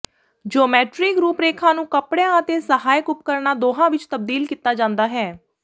geometric ਰੂਪਰੇਖਾ ਨੂੰ ਕੱਪੜਿਆਂ ਅਤੇ ਸਹਾਇਕ ਉਪਕਰਣਾਂ ਦੋਹਾਂ ਵਿੱਚ ਤਬਦੀਲ ਕੀਤਾ ਜਾਂਦਾ ਹੈ